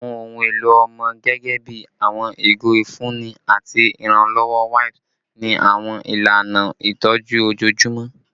Awọn ohun elo ọmọ gẹgẹbi awọn igo ifunni ati iranlọwọ wipes ni awọn ilana itọju ojoojumọ